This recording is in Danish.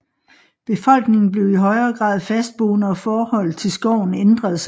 Befolkningen blev i højere grad fastboende og forholdet til skoven ændrede sig